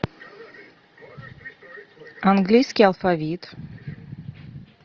английский алфавит